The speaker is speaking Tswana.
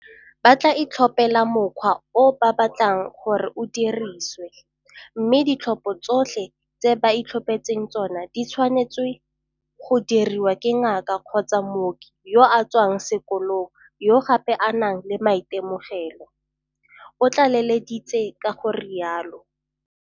Ba tla itlhophela mokgwa o ba batlang gore o dirisiwe, mme ditlhopho tsotlhe tse ba itlhophetseng tsona di tshwanetswe go diriwa ke ngaka kgotsa mooki yo a tswang sekolong yo gape a nang le maitemogelo, o tlaleleditse ka go rialo.